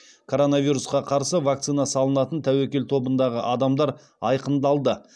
коронавирусқа қарсы вакцина салынатын тәуекел тобындағы адамдар айқындалды